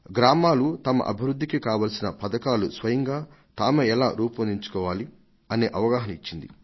గ్రామాలు తమ అభివృద్ధికి కావలసిన పథకాలు స్వయంగా తామే ఎలా రూపొందించుకోవాలి అనే అవగాహన ఇచ్చింది